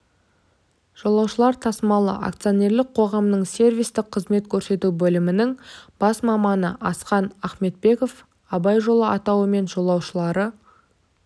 жолаушылар тасымалы акционерлік қоғамының сервистік қызмет көрсету бөлімінің бас маманы асқар ахметбеков абай жолы атауымен жолаушылар